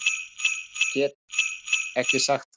Nei, get ekki sagt það